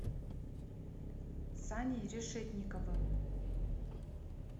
саней решетниковым